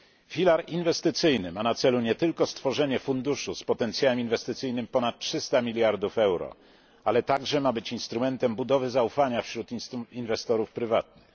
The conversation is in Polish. Filar inwestycyjny ma na celu nie tylko stworzenie funduszu z potencjałem inwestycyjnym ponad 300 miliardów euro, ale także ma być instrumentem budowy zaufania wśród inwestorów prywatnych.